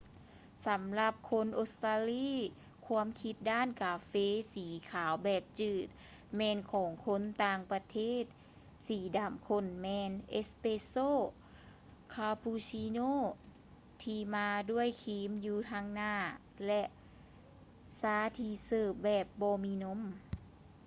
ສຳລັບຄົນອົດສະຕາລີ ຄວາມຄິດດ້ານກາເຟ ສີຂາວແບບຈືດ” ແມ່ນຂອງຄົນຕ່າງປະເທດ. ສີດໍາຂົ້ນແມ່ນ ເອສແປສໂຊ” ຄາປູຊິໂນທີ່ມາດ້ວຍຄຣີມ ຢູ່ທາງໜ້າ ແລະ ຊາທີ່ເສີບແບບບໍ່ມີນົມ